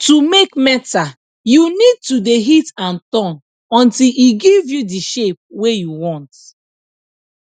to make metal you need to de hit and turn until e give you dey shape wey you want